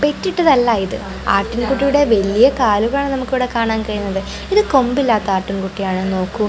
പെറ്റിട്ടതല്ല ഇത് ആട്ടിൻ കുട്ടിയുടെ വലിയ കാലുകളാണ് നമുക്കിവിടെ കാണാൻ കഴിയുന്നത് ഇത് കൊമ്പില്ലാത്ത ആട്ടിൻകുട്ടി ആണോന്ന് നോക്കു.